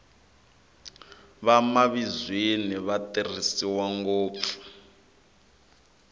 vamavizweni va tirhisiwa ngopfu